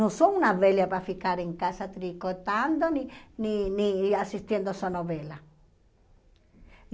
Não sou uma velha para ficar em casa tricotando, nem nem nem assistindo a sua novela.